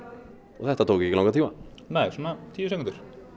þetta tók ekki langan tíma nei svona tíu sekúndur